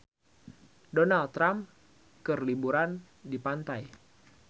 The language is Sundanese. Donald Trump keur liburan di pantai